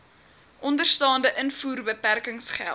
onderstaande invoerbeperkings geld